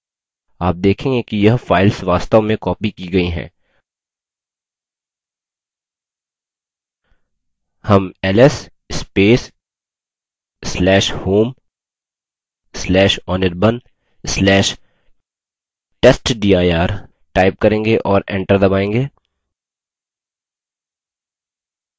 आप देखेंगे कि यह files वास्तव में copied की गई हैं हम ls/home/anirban/testdir type करेंगे और enter दबायेंगे